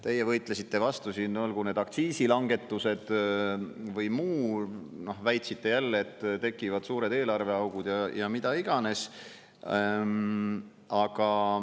Teie võitlesite vastu siin, olgu need aktsiisilangetused või muu, väitsite jälle, et tekivad suured eelarveaugud ja mida iganes.